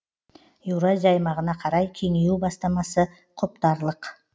еуразия аймағына қарай кеңею бастамасы құптарлық